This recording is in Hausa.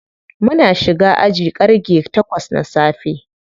Muna shiga aji ƙarge takwas na safe.